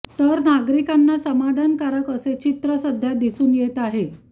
तर नागरिकांना समाधानकारक असे चित्र सध्या दिसून येत आहे